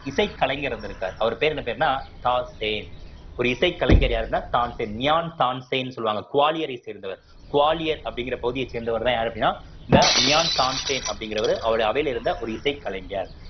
இசை கலைஞர் இருந்திருக்கார். அவர் பேர் என்ன பேருன்னா ஒரு இசை கலைஞர் யாருன்னா சான்சேன் மியான் சான்சேன்சொல்லுவாங்க குவாலியரை சேர்ந்தவர் குவாலியர் அப்படிங்கிற பகுதியை சேர்ந்தவர்தான் யாரு அப்படின்னா இந்த மியான் சான்சேன் அப்படிங்கிறவரு அவருடைய அவையில இருந்த ஒரு இசை கலைஞர்